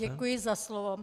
Děkuji za slovo.